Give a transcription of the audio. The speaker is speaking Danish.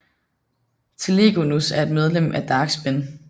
Telegonus er et medlem af Dark Spin